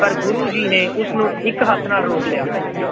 ਪਰ ਗੁਰੂ ਜੀ ਨੇ ਉਸਨੂੰ ਇੱਕ ਹੱਥ ਨਾਲ ਰੋਕ ਦਿੱਤਾ।